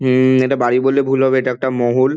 হুম ম এটা বাড়ি বললে ভুল হবে এটা একটা মহল।